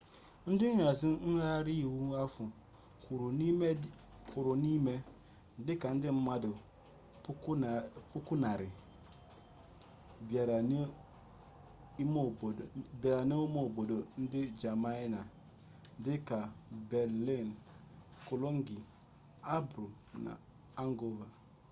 ndị nhazi ngagharị iwe ahụ kwuru n'ihe dị ka ndị mmadụ 100,000 bịara n'ụmụ obodo nke jamanị dị ka berlin cologne hamburg na hanover